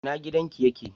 Ina gidan ki ye ke?